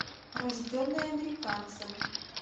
рожденный американцем